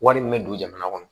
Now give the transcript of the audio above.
Wari min bɛ don jamana kɔnɔ